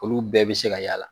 Olu bɛɛ bɛ se ka y'a la.